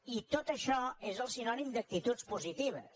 i tot això és sinònim d’actituds positives